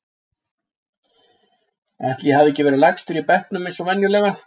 Ætli ég hafi ekki verið lægstur í bekknum eins og venjulega.